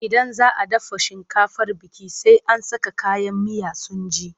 Idan za a dafa shinkafar biki, sai an saka kayan miya sun ji.